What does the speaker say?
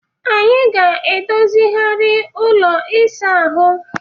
Anyị ga-edozigharị ụlọ ịsa ahụ.